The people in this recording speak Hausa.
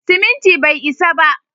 Siminti bai isa ba.